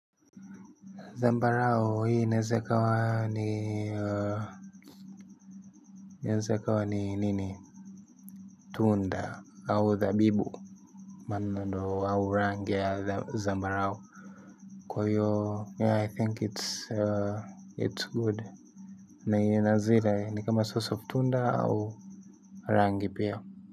Zambarao hii inaweza ikawa ni inaweza ikawa ni nini, tunda au thabibu au rangi ya zambarau kwa hiyo yeah i think it's good. Naiona hazira, ni kama 'source of' tunda au rangi pia.